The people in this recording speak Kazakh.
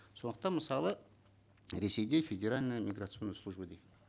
сондықтан мысалы ресейде федеральная миграционная служба дейді